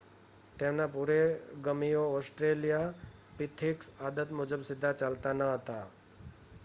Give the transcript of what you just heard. તેમના પુરોગમીઓ ઓસ્ટ્રેલિયાપિથિક્સ આદત મુજબ સીધા ચાલતા ન હતા